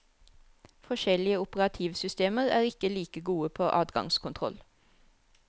Forskjellige operativsystemer er ikke like gode på adgangskontroll.